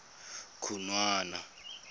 khunwana